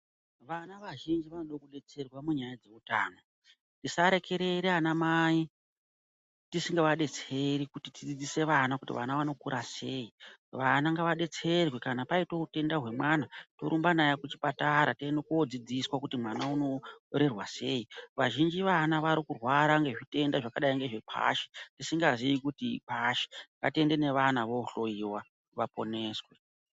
Vana vazhinji vanode kudetserwa munyaya dzeutano, tisarekere anamai tisingavadetseri kuti tidzidzise vana kuti vana vanokura sei, vana ngavadetserwe kana paite utenda hwemwana torumba naye kuchipatara toende kodzidziswa kuti mwana unorerwa sei, vazhinji vana varikurwara ngezvitenda zvakadai ngeKwashi tisingaziyi kuti ikwashi ngatiende nevana vohloyiwa vaponeswe.